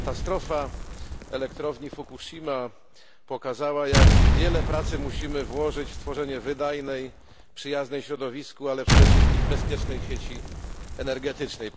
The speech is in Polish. Katastrofa elektrowni Fukuszima pokazała, jak wiele pracy musimy włożyć w tworzenie wydajnej i przyjaznej środowisku, ale przede wszystkim bezpiecznej sieci energetycznej.